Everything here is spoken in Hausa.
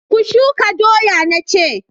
Ku shuka doya na ce!